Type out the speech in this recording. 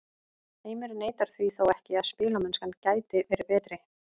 Heimir neitar því þó ekki að spilamennskan gæti verið betri.